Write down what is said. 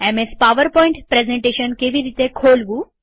MS PowerPoint presentation કેવી રીતે ખોલવું